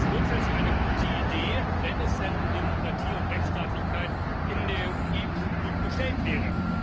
Das ist grundsätzlich eine gute Idee, wenn es denn um Demokratie und Rechtsstaatlichkeit in der EU gut bestellt wäre.